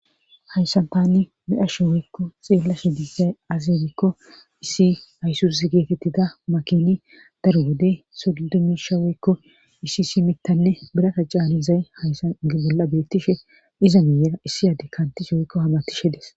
Hayssantanni medhashe woykko xeella she diizay azibikko issi haysus geetettida makini daruwode sudidumisha woykko isi si mittanne birata caani zay hayssan gebolla beettishe iza miiyera issi adi kantishe woykko hamatishe des.